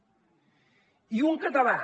i un català